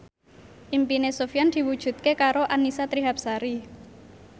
impine Sofyan diwujudke karo Annisa Trihapsari